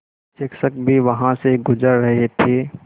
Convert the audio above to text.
शिक्षक भी वहाँ से गुज़र रहे थे